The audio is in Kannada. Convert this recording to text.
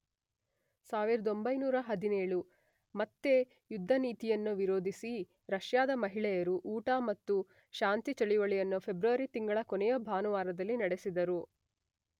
೧೯೧೭, ಮತ್ತೆ ಯುದ್ಧ ನೀತಿಯನ್ನ ವಿರೋಧಿಸಿ ರಷ್ಯಾದ ಮಹಿಳೆಯರು ಊಟ ಮತ್ತು ಶಾಂತಿ ಚಳುವಳಿಯನ್ನ ಫೆಬ್ರವರಿ ತಿಂಗಳ ಕೊನೆಯ ಭಾನುವಾರದಲ್ಲಿ ನಡೆಸಿದರು.